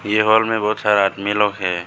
ये हॉल में बहोत सारा आदमी लोग है।